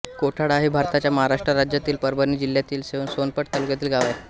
कोठाळा हे भारताच्या महाराष्ट्र राज्यातील परभणी जिल्ह्यातील सोनपेठ तालुक्यातील एक गाव आहे